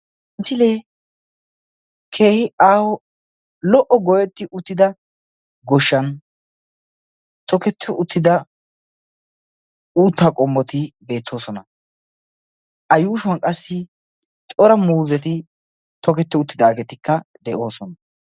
Misilee keehi aaho lo"o goyetti uttida gooshshan toketti uttida uuttaa qommoti beettosona. a yuushshuwaan qassi cora muuzetti toketti uttidaagetikka de'oosona.